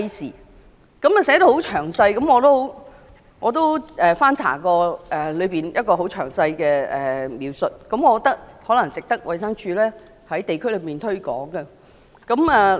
這項通知寫得很詳細，我曾翻查當中很詳細的描述，我認為值得衞生署在地區上推廣。